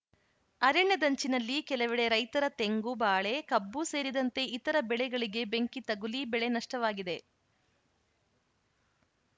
ಅರಣ್ಯದಂಚಿನಲ್ಲಿ ಕೆಲವಡೆ ರೈತರ ತೆಂಗು ಬಾಳೆ ಕಬ್ಬು ಸೇರಿದಂತೆ ಇತರ ಬೆಳೆಗಳಿಗೆ ಬೆಂಕಿ ತಗುಲಿ ಬೆಳೆ ನಷ್ಟವಾಗಿದೆ